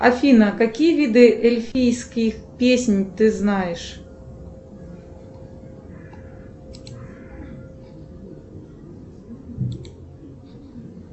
афина какие виды эльфийских песнь ты знаешь